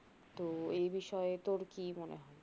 তো এবিষয়ে তোর কি মনে হয়